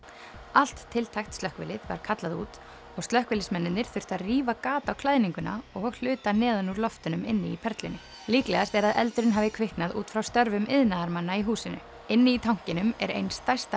allt tiltækt slökkvilið var kallað út og slökkviliðsmennirnir þurftu að rífa gat á klæðninguna og hluta neðan úr loftunum inni í Perlunni líklegast er að eldurinn hafi kviknað út frá störfum iðnaðarmanna í húsinu inni í tankinum er ein stærsta